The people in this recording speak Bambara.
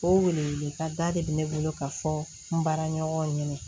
O weleweleda de bɛ ne bolo ka fɔ n ba ɲɔgɔn ye